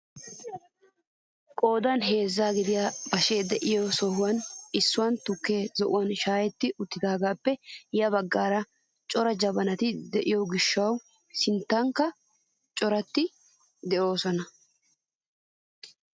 Qoodan heezzaa gidiyaa bashshee de'iyoo sohwaan issuwaan tukkee zo'uwaan shaayetti uttidagaappe ya baggaara cora jabanti de'iyoo gishshawu siinetikka coratti de'oosona!